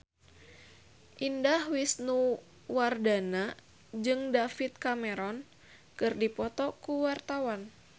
Indah Wisnuwardana jeung David Cameron keur dipoto ku wartawan